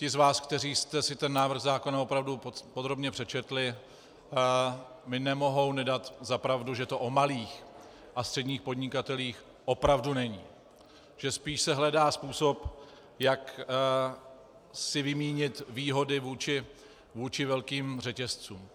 Ti z vás, kteří jste si ten návrh zákona opravdu podrobně přečetli, mi nemohou nedat za pravdu, že to o malých a středních podnikatelích opravdu není, že se spíš hledá způsob, jak si vymínit výhody vůči velkým řetězcům.